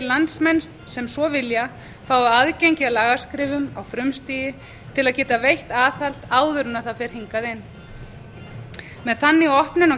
landsmenn sem svo vilja fái aðgengi að lagaskrifum á frumstigi til að geta veitt aðhald áður en það fer hingað inn með þannig opnun á